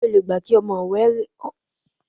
S̩e o lè gbà kí o̩mo̩ re̩ wè̩ pè̩lú rè̩?